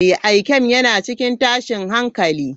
Ikem yana cikin tashin hankali.